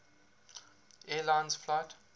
air lines flight